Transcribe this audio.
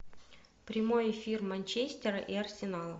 прямой эфир манчестера и арсенала